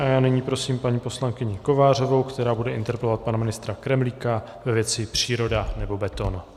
A já nyní prosím paní poslankyni Kovářovou, která bude interpelovat pana ministra Kremlíka ve věci příroda, nebo beton.